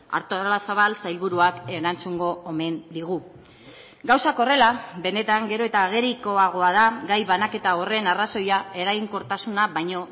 artolazabal sailburuak erantzungo omen digu gauzak horrela benetan gero eta agerikoagoa da gai banaketa horren arrazoia eraginkortasuna baino